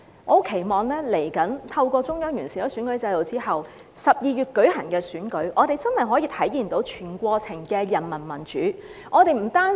我期望未來透過中央完善選舉制度之後，在12月舉行的選舉，我們真的可以體現到全過程的人民民主。